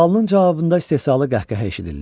Sualının cavabında istehzalı qəhqəhə eşidildi.